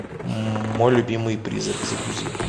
мой любимый призрак загрузи